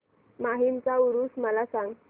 माहीमचा ऊरुस मला सांग